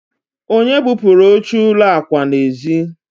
onye bupuru oche ụlọ akwa n'ezi?